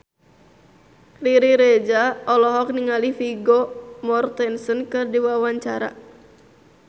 Riri Reza olohok ningali Vigo Mortensen keur diwawancara